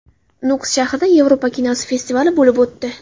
Nukus shahrida Yevropa kinosi festivali bo‘lib o‘tdi.